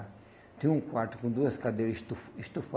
Tinha um quarto com duas cadeiras estu